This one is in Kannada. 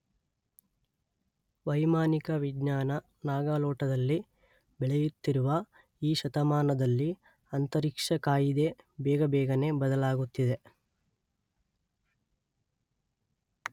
ವೈಮಾನಿಕ ವಿಜ್ಞಾನ ನಾಗಾಲೋಟದಲ್ಲಿ ಬೆಳೆಯುತ್ತಿರುವ ಈ ಶತಮಾನದಲ್ಲಿ ಅಂತರಿಕ್ಷ ಕಾಯಿದೆ ಬೇಗಬೇಗನೆ ಬದಲಾಗುತ್ತಿದೆ.